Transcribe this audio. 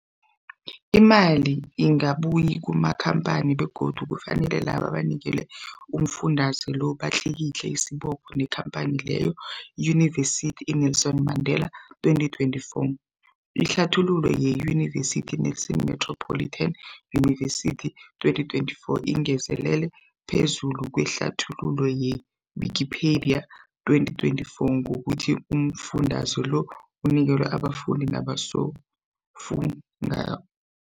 Imali ingabuyi kumakhamphani begodu kufanele labo abanikelwa umfundaze lo batlikitliki isibopho neenkhamphani leyo, Yunivesity i-Nelson Mandela 2024. Ihlathululo yeYunivesithi Nelson Metropolitan University, 2024, ingezelele phezu kwehlathululo ye-Wikipedia, 2024, ngokuthi umfundaze lo unikelwa abafundi nabosofundwa